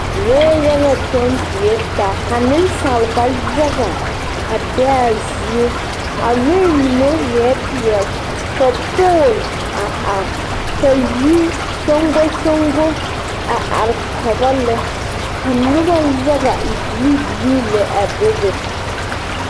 lɔɛ yaga kyɔge tuure taa ka nensalba yaga a be a zie a lɔɛ mine ēē peɛle ka pole a are ka yi soŋkosoŋko a are tobɔ lɛɛ ka noba yaga a e bilibili lɛɛ a bebe.